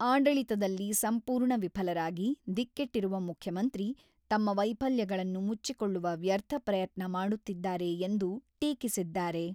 ಆಡಳಿತದಲ್ಲಿ ಸಂಪೂರ್ಣ ವಿಫಲರಾಗಿ, ದಿಕ್ಕೆಟ್ಟಿರುವ ಮುಖ್ಯಮಂತ್ರಿ, ತಮ್ಮ ವೈಫಲ್ಯಗಳನ್ನು ಮುಚ್ಚಿಕೊಳ್ಳುವ ವ್ಯರ್ಥ ಪ್ರಯತ್ನ ಮಾಡುತ್ತಿದ್ದಾರೆ ಎಂದು ಟೀಕಿಸಿದ್ದಾರೆ.